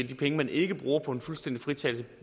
de penge man ikke bruger på en fuldstændig fritagelse